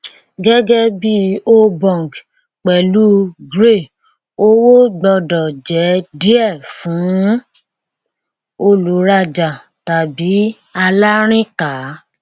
gẹgẹ bí obong pẹlú grey owó gbọdọ jẹ díẹ fún olùrajà tàbí alárìnká